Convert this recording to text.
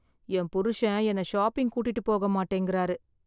என் புருஷன் என்னை ஷாப்பிங் கூட்டிட்டு போக மாட்டேங்கிறாரு.